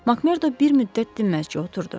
Makmerd bir müddət dinməzci oturdu.